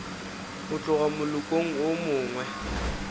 go tloga molokong wo mongwe